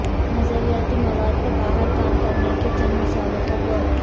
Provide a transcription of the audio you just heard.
نظریاتی مواد کو باہر کام کرنے کے چند مثالوں پر غور